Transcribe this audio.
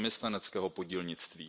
zaměstnaneckého podílnictví.